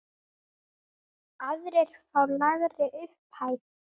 Aðrir fá lægri upphæð.